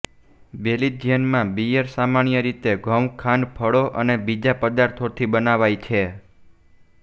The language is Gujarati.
બેલ્જિયમમાં બીયર સામાન્ય રીતે ઘઉં ખાંડ ફળો અને બીજા પદાર્થોથી બનાવાય છે